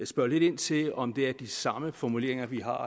spørge lidt ind til om det er de samme formuleringer vi har